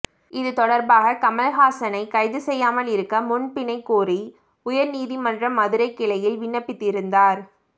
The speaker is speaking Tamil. இது தொடர்பாக கமல்ஹாசனைக் கைது செய்யாமல் இருக்க முன்பிணை கோரி உயர்நீதி மன்ற மதுரை கிளையில் விண்ணப்பித்திருந்தார்